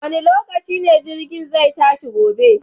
Wane lokaci ne jirgin zai tashi gobe?